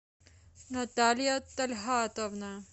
наталья тальгатовна